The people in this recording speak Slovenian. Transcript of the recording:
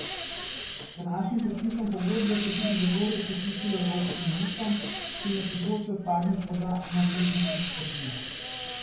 Z današnjim podpisom pogodbe se je tudi Zagorje priključilo evropskim mestom, ki jim je področje odpadnih voda ena prednostnih skrbi.